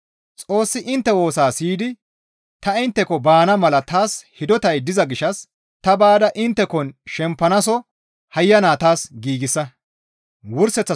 Xoossi intte woosaa siyidi ta intteko baana mala taas hidotay diza gishshas ta baada inttekon shempanaaso hayyana taas giigsa.